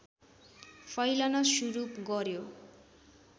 फैलन सुरु गर्‍यो